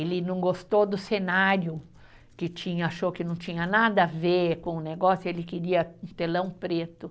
Ele não gostou do cenário, que tinha, achou que não tinha nada a ver com o negócio, ele queria um telão preto.